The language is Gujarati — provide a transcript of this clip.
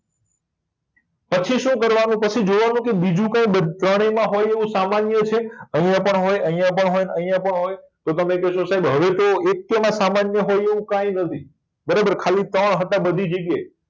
પછી શું કરવા નું પછી જોવા નું કે બીજું કઈ ત્રણેય માં હોય એવું સામાન્ય છે અહિયાં પણ હોય અહિયાં પણ અને અહિયાં પણ હોય તો તમે કહેશો કે હવે તો સાહેબ એકેય માં સંન્ય હોય એવું કઈ નથી બરાબર ખાલી ત્રણ હતા બધી જગ્યા એ